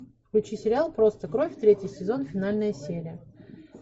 включи сериал просто кровь третий сезон финальная серия